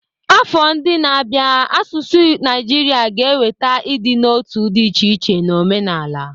Afọ ndị na-abịa n'asụsụ Naijiria ga-eweta ịdị n'otu dị iche iche na omenala.